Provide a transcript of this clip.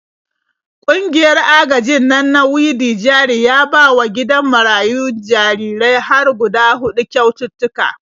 Ƙungiyar agajin nan na Widi-jari ya bawa gidan marayun jarirai har hguda huɗu kyaututtuka.